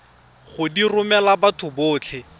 go di romela batho botlhe